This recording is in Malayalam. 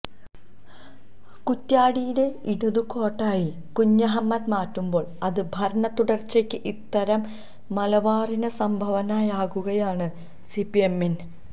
കുറ്റ്യാടിയെ ഇടതു കോട്ടയായി കുഞ്ഞഹമ്മദ് മാറ്റുമ്പോൾ അത് ഭരണ തുടർച്ചയ്ക്ക് ഉത്തര മലബാറിന്റെ സംഭവനയാകുകയാണ് സിപിഎമ്മിന്